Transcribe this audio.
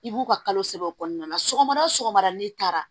I b'u ka kalo saba o kɔnɔna na sɔgɔmada o sɔgɔmada n'i taara